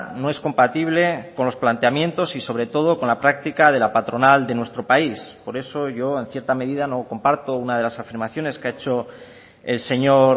no es compatible con los planteamientos y sobre todo con la práctica de la patronal de nuestro país por eso yo en cierta medida no comparto una de las afirmaciones que ha hecho el señor